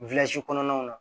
kɔnɔnaw na